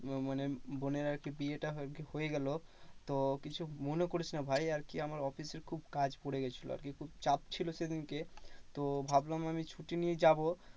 ও মানে বোনের আরকি বিয়ে টা হয়ে গেলো। তো কিছু মনে করিস না ভাই আরকি আমার অফিসের খুব কাজ পড়েগেছিলো আরকি। খুব চাপ ছিল সেদিন কে, তো ভাবলাম আমি ছুটি নিয়ে যাবো